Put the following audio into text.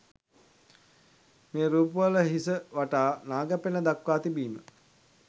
මේ රූප වල හිස වටා නාග පෙණ දක්වා තිබීම